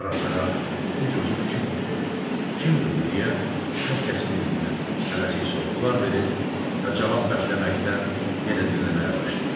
Ara-sıra "Bu çocuq kimdir?", "Kimdir bu?" deyə hər kəs bir-birinə tələsik sorğular verir və cavab bəkləməkdən yenə dinləməyə başlayırdı.